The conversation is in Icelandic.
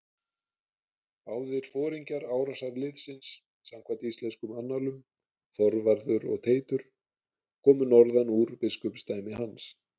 Báðir foringjar árásarliðsins samkvæmt íslenskum annálum, Þorvarður og Teitur, komu norðan úr biskupsdæmi hans.